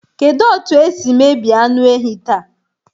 Kedu otu esi emebi anụ ehi taa?